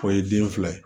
O ye den fila ye